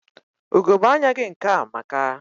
Ugegbe anya gị nke a amaka.